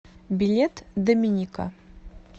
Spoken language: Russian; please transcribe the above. билет доминика